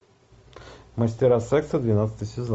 мастера секса двенадцатый сезон